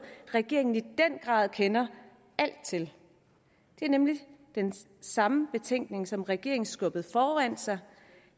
regeringen i den grad kender til det er nemlig den samme betænkning som regeringen skubbede foran sig